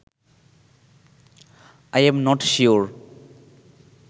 I am not sure